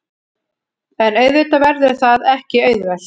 En auðvitað verður það ekki auðvelt